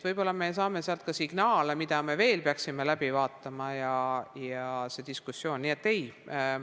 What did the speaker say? Võib-olla me saame sealt ka signaale, mida me veel peaksime läbi vaatama ja see toetab meie diskussiooni.